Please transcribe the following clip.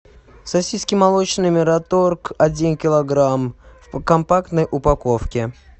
сосиски молочные мираторг один килограмм в компактной упаковке